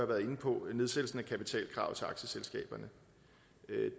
været inde på nedsættelsen af kapitalkravet til aktieselskaberne